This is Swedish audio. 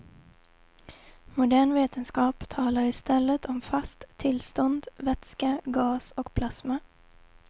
Modern vetenskap talar istället om fast tillstånd, vätska, gas och plasma.